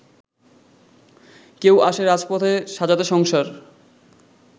কেউ আসে রাজপথে সাজাতে সংসার